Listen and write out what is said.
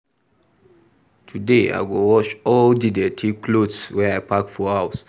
Today, I go wash all di dirty clothes wey I pack for house.